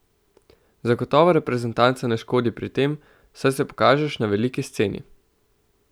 Zagotovo reprezentanca ne škodi pri tem, saj se pokažeš na veliki sceni.